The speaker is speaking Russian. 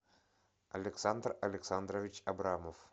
александр александрович абрамов